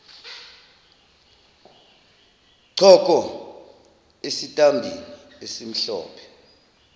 choko esitambini esimhlophe